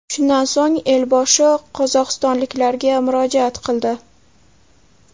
Shundan so‘ng elboshi qozog‘istonliklarga murojaat qildi .